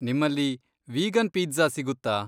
ನಿಮ್ಮಲ್ಲಿ vegan pizza ಸಿಗುತ್ತಾ?